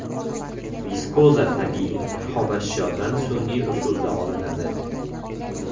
Viskoza tabiiy xomashyodan sun’iy usulda olinadi.